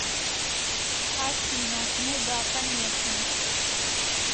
афина ну да конечно